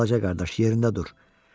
Balaca qardaş, yerində dur.